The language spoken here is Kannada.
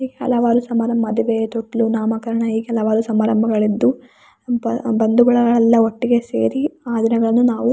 ಎ ಹಲವಾರು ಸಮಾರಂಭ ಮದುವೆ ತೊಟ್ಟಿಲು ನಾಮಕರಣ ಹೀಗೆ ಹಲವಾರು ಸಮರಂಭಗಳಿದ್ದು ಬ್ ಬಂದು ಬಳಗವೆಲ್ಲ ಒಟ್ಟಿಗೆ ಸೇರಿ ಆ ದಿನಗಳನ್ನು ನಾವು --